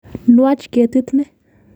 Nwach ketit ni.